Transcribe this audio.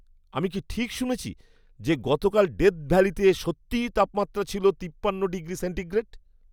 আমি কি ঠিক শুনেছি যে গতকাল ডেথ ভ্যালিতে সত্যিই তাপমাত্রা ছিল তিপ্পান্ন ডিগ্রি সেন্টিগ্রেড?!